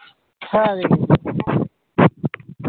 হ্যা দখেছি